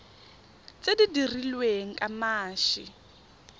tse di dirilweng ka mashi